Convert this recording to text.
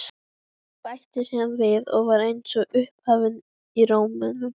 Bætti síðan við og var eins og upphafin í rómnum